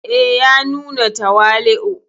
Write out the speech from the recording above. E, ya nuna tawali'u.